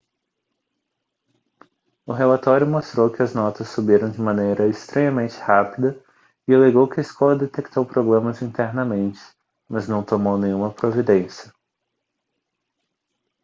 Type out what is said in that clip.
o relatório mostrou que as notas subiram de maneira estranhamente rápida e alegou que a escola detectou problemas internamente mas não tomou nenhuma providência